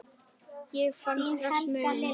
Ég finn strax muninn.